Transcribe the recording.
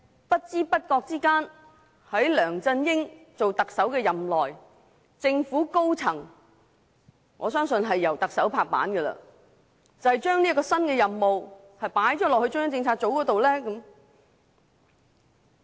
不知不覺間，在梁振英出任特首的任內，為何政府高層——我相信這是由特首敲定的——會將這項新任務交給中央政策組呢？